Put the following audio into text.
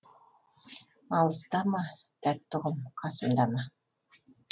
алыста ма тәтті ұғым қасымда ма